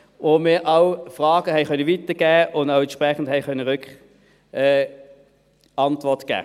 W konnten auch Fragen weitergeben und entsprechend Antwort geben.